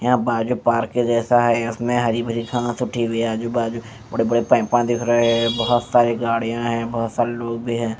यहां बाजू पार्क के जैसा है इसमें हरी भरी घास उठी हुई है आजू बाजू बड़े बड़े पाइपां दिख रहे हैं बहोत सारी गाड़ियां हैं बहोत सारे लोग हैं।